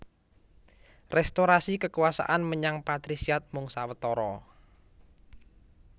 Restorasi kekuasaan menyang patrisiat mung sawetara